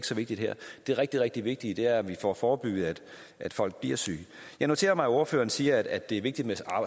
så vigtigt her det rigtig rigtig vigtige er at vi får forebygget at folk bliver syge jeg noterer mig at ordføreren siger at det er vigtigt med